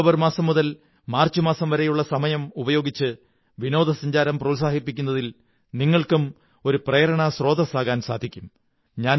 ഈ ഒക്ടോബർ മാസം മുതൽ മാര്ച്സ മാസം വരെയുള്ള സമയമുപയോഗിച്ച് വിനോദസഞ്ചാരം പ്രോത്സാഹിപ്പിക്കുന്നതിൽ നിങ്ങള്ക്കും ഒരു പ്രേരണാസ്രോതസ്സാകാൻ സാധിക്കും